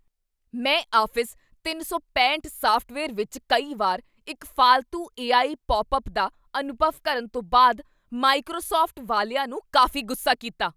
ਮੈਂ ਆਫ਼ਿਸ ਤਿੰਨ ਸੌ ਪੈਂਹਠ ਸਾੱਫਟਵੇਅਰ ਵਿੱਚ ਕਈ ਵਾਰ ਇੱਕ ਫਾਲਤੂ ਏ ਆਈ ਪੌਪਅਪ ਦਾ ਅਨੁਭਵ ਕਰਨ ਤੋਂ ਬਾਅਦ ਮਾਈਕ੍ਰੋਸਾੱਫਟ ਵਾਲਿਆਂ ਨੂੰ ਕਾਫ਼ੀ ਗੁੱਸਾ ਕੀਤਾ